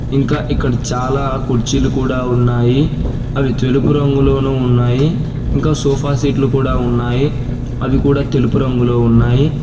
ఇంకా ఇక్కడ చాలా కుర్చీలు కూడా ఉన్నాయి అవి తెలుపు రంగులోను ఉన్నాయి ఇంకా సోఫాసెట్లు కూడా ఉన్నాయి అవి కూడా తెలుపు రంగులో ఉన్నాయి.